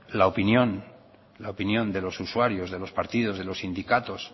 la opinión de los usuarios de los partidos de los sindicatos